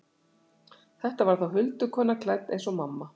Þetta var þá huldukona, klædd eins og mamma.